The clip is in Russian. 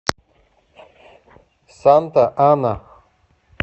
санта ана